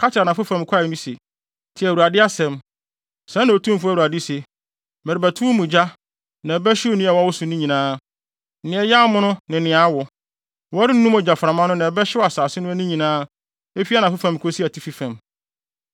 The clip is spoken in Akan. Ka kyerɛ anafo fam kwae no se: ‘Tie Awurade asɛm. Sɛɛ na Otumfo Awurade se: Merebɛto wo mu gya, na ɛbɛhyew nnua a ɛwɔ wo so nyinaa: Nea ɛyɛ amono ne nea awo. Wɔrennum ogyaframa no na ɛbɛhyew asase no ani nyinaa; efi anafo fam kosi atifi fam.